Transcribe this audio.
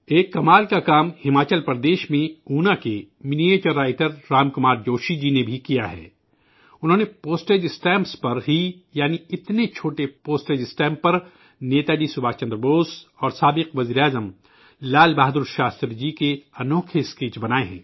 ایک کمال کا کام ہماچل پردیش میں اونا کے miniature writer Ram Kumar Joshi نے بھی کیا ہے، انہوں نے ڈاک ٹکٹوں پر ہی یعنی تنے چھوٹی ڈاکٹ ٹکٹوں پر نیتا جی سبھاش چندر بوس اور سابق وزیر اعظم لال بہادر شاستری جی کے منفرد اسکیچ بنائے